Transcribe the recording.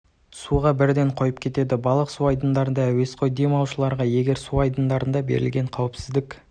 суға бірден қойып кетеді барлық су айдындарында әуесқой дем алушыларға егер су айдындарында белгіленген қауіпсіздік